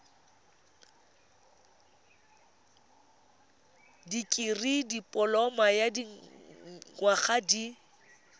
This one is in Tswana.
dikirii dipoloma ya dinyaga di